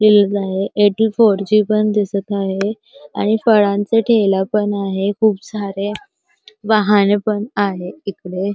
Eighty four G पण दिसत आहे आणि फळांचा ठेला पण आहे खूप सारे वाहने पण आहे इकडे.